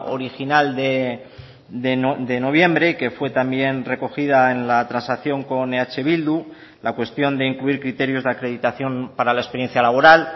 original de noviembre que fue también recogida en la transacción con eh bildu la cuestión de incluir criterios de acreditación para la experiencia laboral